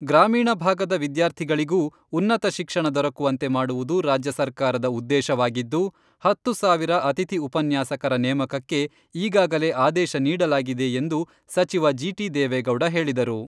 ಗ್ರಾಮೀಣ ಭಾಗದ ವಿದ್ಯಾರ್ಥಿಗಳಿಗೂ ಉನ್ನತ ಶಿಕ್ಷಣ ದೊರಕುವಂತೆ ಮಾಡುವುದು ರಾಜ್ಯ ಸರ್ಕಾರದ ಉದ್ದೇಶವಾಗಿದ್ದು, ಹತ್ತು ಸಾವಿರ ಅತಿಥಿ ಉಪನ್ಯಾಸಕರ ನೇಮಕಕ್ಕೆ ಈಗಾಗಲೇ ಆದೇಶ ನೀಡಲಾಗಿದೆ ಎಂದು ಸಚಿವ ಜಿಟಿ ದೇವೇಗೌಡ ಹೇಳಿದರು.